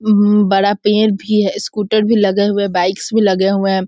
अम बड़ा पेड़ भी है स्कूटर भी लगे हुए है बाइक्स भी लगे हुए है।